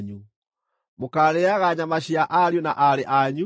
Mũkaarĩĩaga nyama cia ariũ na aarĩ anyu.